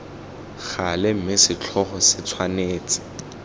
gale mme setlhogo se tshwanetse